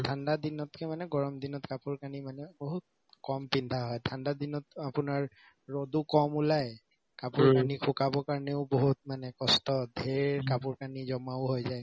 ঠাণ্ডা দিনতকে মানে গৰম দিনত কাপোৰ কানি মানে বহুত কম পিন্ধা হয় ঠাণ্ডা দিনত আপোনাৰ ৰদো কম ওলাই কাপোৰ কানি শুকাব কাৰণেও বহুত মানে কষ্ট ধেৰ কাপোৰ কানি জমাও হৈ যায়